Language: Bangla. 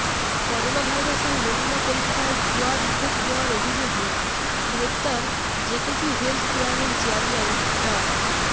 করোনাভাইরাসের নমুনা পরীক্ষায় ভুয়া রিপোর্ট দেওয়ার অভিযোগে গ্রেপ্তার জেকেজি হেলথ কেয়ারের চেয়ারম্যান ডা